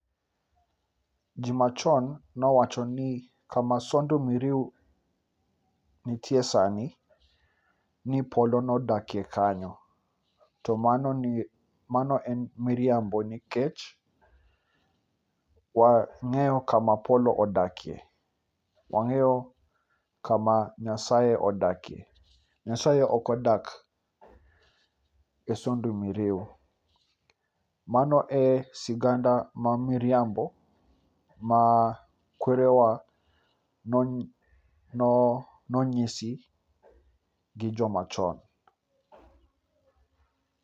Ji machon nowacho ni kama Sondu Miriu nitie sani, ni polo nodakie kanyo. To mano en mirimabo nikech wang'eyo kama polo odakie. Wang'eyo kama Nyasaye odakie. Nyasaye ok odak e Sondu Miriu. Mano e sigana ma miriambo ma kwerewa nonyisi gi jomachon.